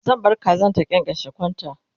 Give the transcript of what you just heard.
zan bar Kazan ta kyankyashe kwanta